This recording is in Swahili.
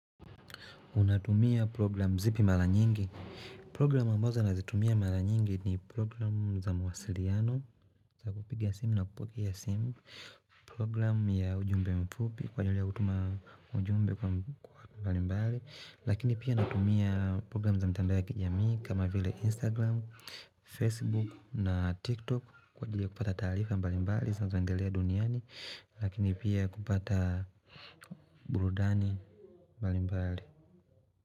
Unatumia program zipi mara nyingi. Programu ambazo nazitumia mara nyingi ni program za mawasiliano. Za kupiga simu na kupokea simu. Program ya ujumbe mfupi kwa ajili kutuma ujumbe kwa mbali mbali. Lakini pia natumia program za mtandao ya kijamii kama vile instagram, facebook na tiktok kwa ajiri ya kupata taarifa mbali mbali zanazoendelea duniani. Lakini pia kupata burudani mbali mbali.